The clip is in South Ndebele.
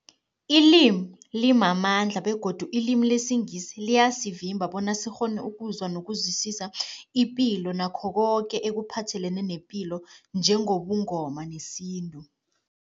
Ilimi limamandla begodu ilimi lesiNgisi liyasivimba bona sikghone ukuzwa nokuzwisisa ipilo nakho koke ekuphathelene nepilo njengobuNgoma nesintu.